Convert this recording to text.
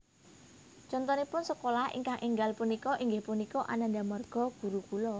Contonipun sekolah ingkang énggal punika inggih punika Ananda Marga Gurukula